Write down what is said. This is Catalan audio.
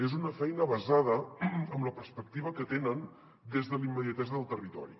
és una feina basada en la perspectiva que tenen des de la immediatesa del territori